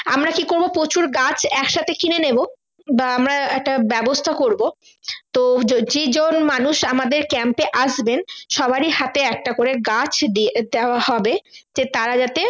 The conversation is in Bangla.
আমরা কি করবো প্রচুর গাছ এক সাথে কিনে নেবো বা আমরা ব্যাবস্তা করবো তো যে জন মানুষ আমাদের camp এ আসবেন সবারই হাতে একটা করে গাছ দেওয়া হবে যে তারা যাতে